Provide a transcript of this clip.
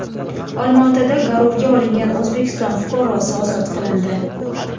Olmaotada garovga olingan O‘zbekiston fuqarosi ozod qilindi.